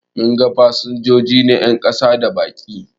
Mun ga fasinjoji na 'yan kasa da baki